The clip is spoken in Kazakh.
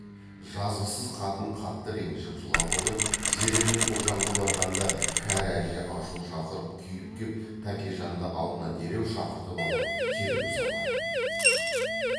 жазықсыз қатын қатты ренжіп жылап отырып зере мен ұлжанға барғанда кәрі әже ашу шақырып күйіп кеп тәкежанды алдына дереу шақыртып алып тергеу салған